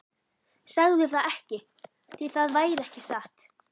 Segðu það ekki, því það væri ekki satt.